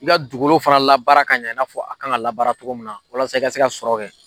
I ka dugukolo fana labaara ka ɲa fɔ a kan ka labaara cogo min na walasa i ka se ka sɔrɔ kɛ.